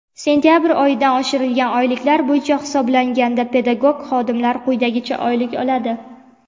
Sentabr oyidan oshirilgan oyliklar bo‘yicha hisoblanganda pedagog xodimlar quyidagicha oylik oladi:.